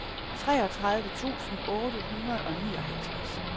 treogtredive tusind otte hundrede og nioghalvtreds